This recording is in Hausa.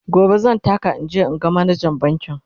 gobe zan taka in je in ga manajan bankin